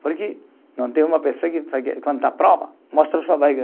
Porque não tem uma pessoa que, quando está prova, mostra sua barriga.